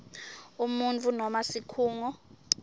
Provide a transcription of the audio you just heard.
umuntfu noma sikhungo